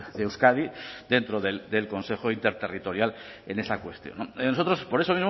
de euskadi dentro del consejo interterritorial en esa cuestión nosotros por eso